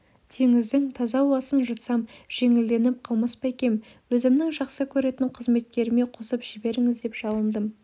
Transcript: теңіздің таза ауасын жұтсам жеңілденіп қалмас па екем өзімнің жақсы көретін қызметкеріме қосып жіберіңіз деп жалындым